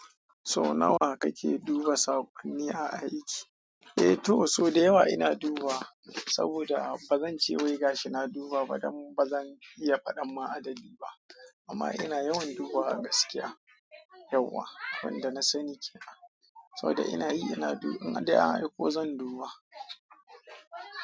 So nawa kake duba sakonni a aiki? Eh to so da yawa ina dubawa saboda ba zan ce wai gashi na duba ba dan ba zan iya paɗan ma adadi ba amma ina yawan dubawa gaskiya yauwa wanda na sani ke nan saboda ina yi ina in dai an aiko zan duba.